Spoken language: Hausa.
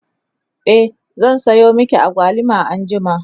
e zan Sayo maki agwaluma anjima